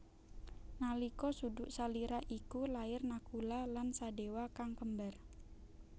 Nalika suduk salira iku lair Nakula lan Sadewa kang kembar